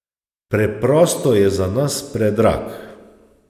Preprosto je za nas predrag.